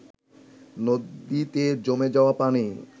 নদীতে জমে যাওয়া পানি